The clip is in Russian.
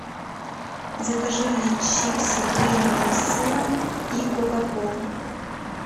закажи мне чипсы принглс с сыром и кока колу